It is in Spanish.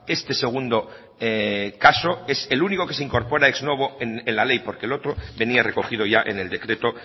este segundo caso es el único que se incorpora ex novo en la ley porque el otro venía recogido ya en el decreto